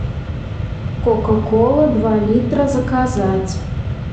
кока кола два литра заказать